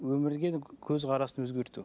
өмірге көзқарасын өзгерту